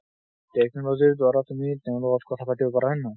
technology ৰ দোৱাৰা তুমি তেওঁৰ লগত কথা পাতিব পাৰা হয় নহয়।